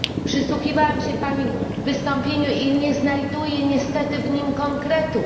Przysłuchiwałam się pani wystąpieniu i nie znajduję niestety w nim konkretów.